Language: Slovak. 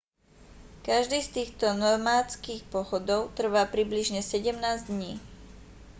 každý z týchto nomádskych pochodov trvá približne 17 dní